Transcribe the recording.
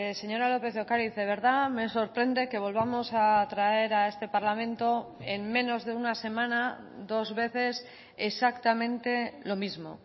señora lópez de ocariz de verdad me sorprende que volvamos a traer a este parlamento en menos de una semana dos veces exactamente lo mismo